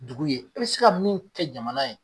Dugu ye, i bi se ka min kɛ jamana ye